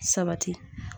Sabati